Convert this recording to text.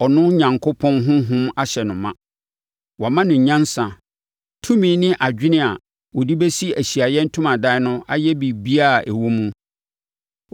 no sɛ ɔno Onyankopɔn Honhom ahyɛ no ma. Wama no nyansa, tumi ne adwene a ɔde bɛsi Ahyiaeɛ Ntomadan no ayɛ biribiara a ɛwɔ mu.